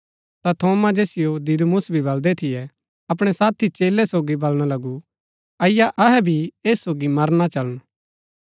ता थोमा जैसियो दिदुमुस भी बलदै थियै अपणै साथी चेलै सोगी बलणा लगु अईआ अहै भी ऐस सोगी मरना चलन